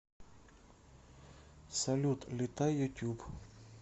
салют летай ютуб